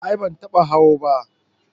A'a ban taba hawa ba